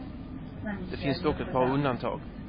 Det finns dock ett par undantag.